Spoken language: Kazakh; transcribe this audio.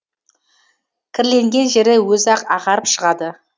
кірленген жері өзі ақ ағарып шығады